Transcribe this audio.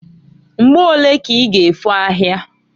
Mgbo olee ka i g' efo ahia?